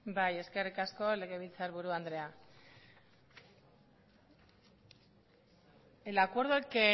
bai eskerrik asko legebiltzarburu andrea el acuerdo el que